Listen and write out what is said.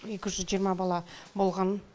екі жүз жиырма бала болған